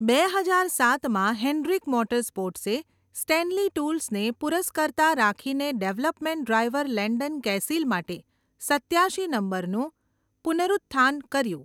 બે હજાર સાતમાં, હેન્ડ્રિક મોટરસ્પોર્ટ્સે સ્ટેનલી ટૂલ્સને પુરસ્કર્તા રાખીને ડેવલપમેન્ટ ડ્રાઇવર લેન્ડન કેસિલ માટે સત્યાશી નંબરનું પુનરુત્થાન કર્યું.